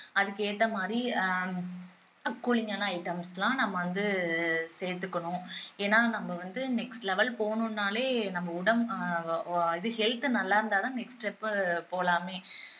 அதுக்கேத்த மாதிரி ஆஹ் cooling ஆன items எல்லாம் நம்ம வந்து சேர்த்துக்கணும் ஏன்னா நம்ம வந்து next level போகணும்னாலே நம்ம உடம்பு ஆஹ் இது health நல்லா இருந்தாதான் next step போலாமே